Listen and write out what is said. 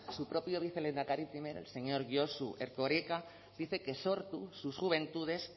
su propio vicelehendakari primero el señor josu erkoreka dice que sortu sus juventudes